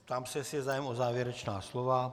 Ptám se, jestli je zájem o závěrečná slova.